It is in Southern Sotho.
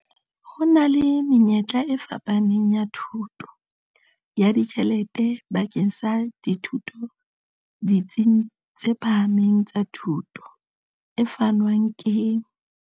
Ho na le menyetla e fapaneng ya thuso ya ditjhelete bakeng sa dithuto ditsing tse phahameng tsa thuto, e fanwang ke.